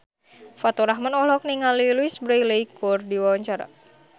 Faturrahman olohok ningali Louise Brealey keur diwawancara